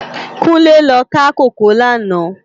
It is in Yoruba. Kunle lò ká kókòó làná